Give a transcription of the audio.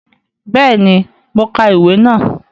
Béèni, mo ka ìwé náà